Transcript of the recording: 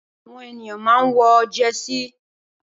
Awòn éniyàn mà n wò jèsí